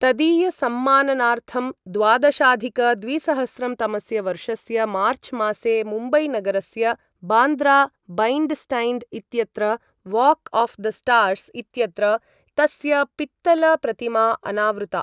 तदीयसम्मानार्थं द्वादशाधिकद्विसहस्रंतमस्य वर्षस्य मार्च्मासे मुम्बईनगरस्य बान्द्रा बैण्ड्स्टैण्ड् इत्यत्र वाक् आफ् द स्टार्स् इत्यत्र तस्य पित्तलप्रतिमा अनावृता।